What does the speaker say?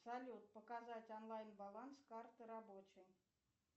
салют показать онлайн баланс карты рабочей